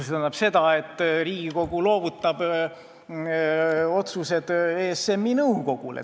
See tähendab seda, et Riigikogu loovutab otsuste tegemise ESM-i nõukogule.